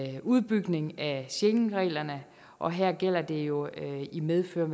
en udbygning af schengenreglerne og her gælder det jo i medfør